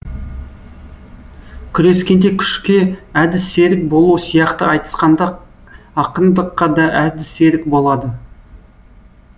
күрескенде күшке әдіс серік болу сияқты айтысқанда ақындыққа да әдіс серік болады